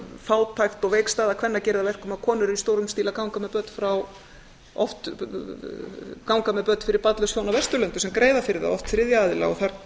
fátækt og veik staða kvenna gerir það að verkum að konur eru í stórum stíl að ganga með börn fyrir barnlaus hjón af vesturlöndum sem greiða fyrir það oft þriðja aðila og þar